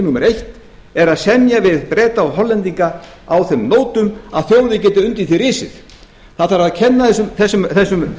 númer eitt er að semja við breta og hollendinga á þeim nótum að þjóðin geti undir því risið það þarf að kenna þessum